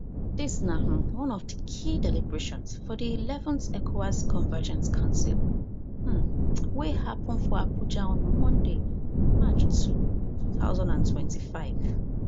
dis na um one of di key deliberations for di eleven th ecowas convergence council um wey happen for abuja on monday march two two thousand and twenty-five